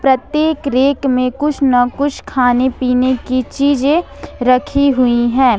प्रत्येक रेक में कुछ ना कुछ खाने पीने की चीजे रखी हुई है ।